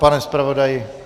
Pane zpravodaji.